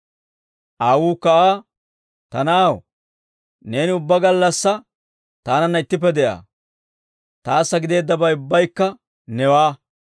«Aawuukka Aa, ‹Ta na'aw, neeni ubbaa gallassaa taananna ittippe de'aa; taassa gideeddabay ubbaykka newaa.